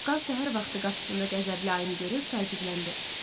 Çaqqal səhər vaxtı qapısında qəzəbli ayını görüb təəccübləndi.